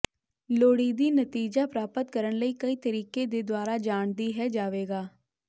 ਲੋੜੀਦੀ ਨਤੀਜਾ ਪ੍ਰਾਪਤ ਕਰਨ ਲਈ ਕਈ ਤਰੀਕੇ ਦੇ ਦੁਆਰਾ ਜਾਣ ਦੀ ਹੈ ਜਾਵੇਗਾ